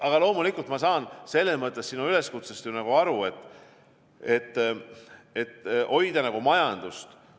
Aga loomulikult ma saan selles mõttes sinu üleskutsest aru, et hoida majandust.